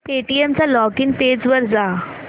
Paytm च्या login page वर जा